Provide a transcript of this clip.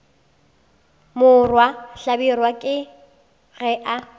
morwa hlabirwa ke ge a